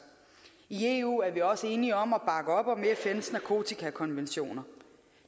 i eu er vi også enige om at bakke op om fns nakotikakonventioner